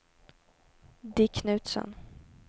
Dick Knutsson